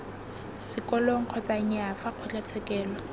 sekolong kgotsa nnyaa fa kgotlatshekelo